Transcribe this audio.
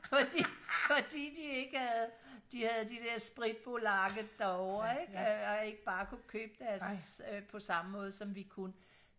fordi fordi de ikke havde de havde de der spritpolakker derovre ikke og ikke bare kunne købe det på samme måde som vi kunne